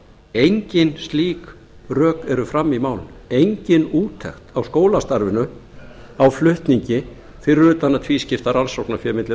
engin slík rök eru frammi í málinu engin úttekt á skólastarfinu á flutningi fyrir utan að tvískipta rannsóknarfé milli